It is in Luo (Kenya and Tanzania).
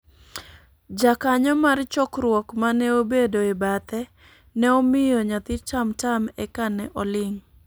Jakanyo mar chokruok mane obedo e bathe ne omiyo nyathi tamtam eka ne oling'